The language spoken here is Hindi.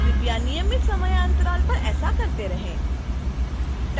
कृपया नियमित समयांतराल पर ऐसा करते रहें